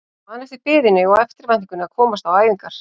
Ég man eftir biðinni og eftirvæntingunni að komast á æfingar.